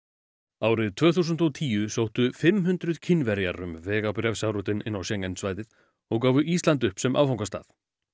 árið tvö þúsund og tíu sóttu fimm hundruð Kínverjar um vegabréfsáritun inn á Schengen svæðið og gáfu Ísland upp sem áfangastað